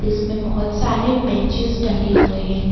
इसमें बहुत सारे बेंचेज डले हुए हैं।